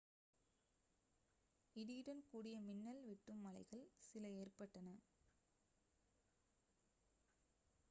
இடியுடன் கூடிய மின்னல் வெட்டும் மழைகள் சில ஏற்றப்பட்டன